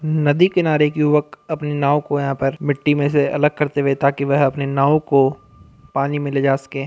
नदी किनारे एक युवक अपनी नाव को यहाँ पर मिट्टी में से अलग करते हुए ताकि वह अपनी नाव को पानी में ले जा सके।